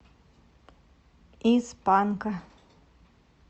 из панка